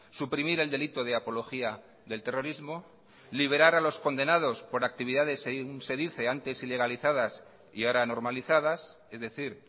suprimir el delito de apología del terrorismo liberar a los condenados por actividades se dice antes ilegalizadas y ahora normalizadas es decir